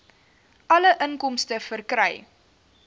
alle inkomste verkry